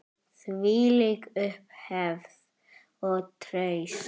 Þvílík upphefð og traust.